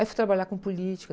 Aí fui trabalhar com política.